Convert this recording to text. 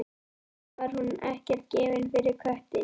Samt var hún ekkert gefin fyrir köttinn.